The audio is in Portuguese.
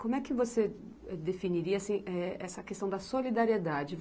Como é que você definiria assim, eh, essa questão da solidariedade?